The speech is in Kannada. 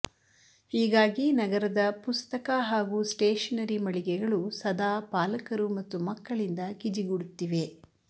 ಹೀಗಾಗಿ ನಗರದ ಪುಸ್ತಕ ಹಾಗೂ ಸ್ಟೇಶನರಿ ಮಳಿಗೆಗಳು ಸದಾ ಪಾಲಕರು ಮತ್ತು ಮಕ್ಕಳಿಂದ ಗಿಜಿಗುಡುತ್ತಿವೆ